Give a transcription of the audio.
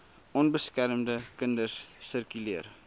onbeskermde kinders sirkuleer